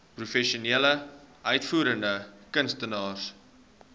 professionele uitvoerende kunstenaars